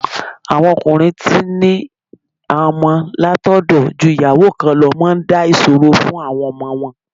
Àwọn ọkùnrin tí ń ní àwọn ọmọ látọ̀dọ̀ ju ìyàwó kan lọ máa ń dá ìṣòro fún àwọn ọmọ wọn.